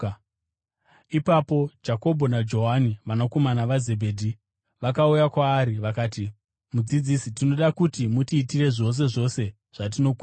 Ipapo Jakobho naJohani vanakomana vaZebhedhi, vakauya kwaari, vakati, “Mudzidzisi, tinoda kuti mutiitire zvose zvose zvatinokumbira.”